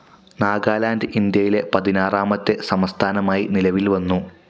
നാഗാലാൻ്റ്, ഇന്ത്യയിലെ പതിനാറാമത്തെ സംസ്ഥാനമായി നിലവിൽ വന്നു.